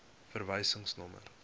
verwysingsnommer